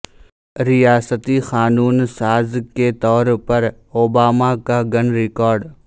ریاستی قانون ساز کے طور پر اوباما کا گن ریکارڈ